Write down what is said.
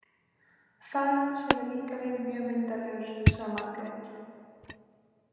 Faðir hans hefur líka verið mjög myndarlegur, sagði Margrét.